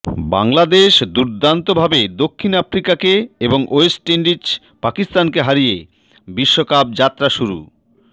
বাংলাদেশ দুর্দান্তভাবে দক্ষিণ আফ্রিকাকে এবং ওয়েস্ট ইন্ডিজ পাকিস্তানকে হারিয়ে বিশ্বকাপ যাত্রা শুরু